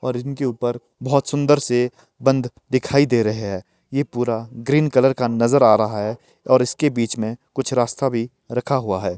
और उनके ऊपर बोहोत सुंदर से बंध दिखाई दे रहे हैं यह पूरा ग्रीन कलर का नजर आ रहा है और इसके बीच में कुछ रास्ता भी रखा हुआ है।